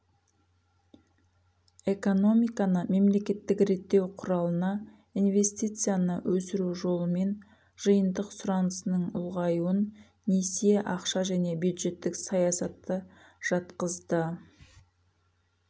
экономиканы мемлекеттік реттеу құралына ивестицияны өсіру жолымен жиынтық сұранысының ұлғайуын несие ақша және бюджеттік саясатты жатқызды